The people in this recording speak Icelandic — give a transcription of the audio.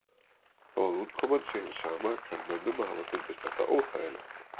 Þó að útkoman sé hin sama kann mönnum að hafa fundist þetta óþægilegt.